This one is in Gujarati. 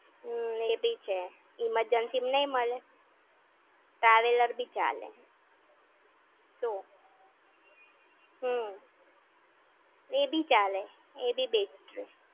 હમ્મ, એ બી છે. Emergency માં નઈ મળે? Traveller બી ચાલે. શું? હમ્મ. એ બી ચાલે. એ બી best રેય.